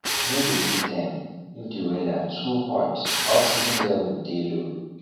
no dey feed dem if the weather too hot oxygen level dey low